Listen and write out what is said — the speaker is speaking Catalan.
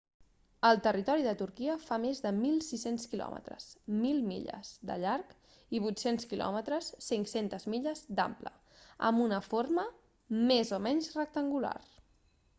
el territori de turquia fa més de 1.600 quilòmetres 1.000 milles de llarg i 800 km 500 milles d'ample amb una forma més o menys rectangular